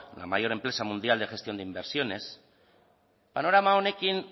la mayor empresa mundial de gestión de inversiones panorama honekin